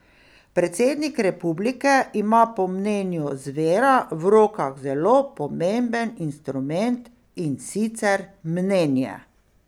Predsednik republike ima po mnenju Zvera v rokah zelo pomemben instrument, in sicer mnenje.